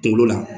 Kunkolo la